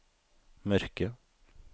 mørke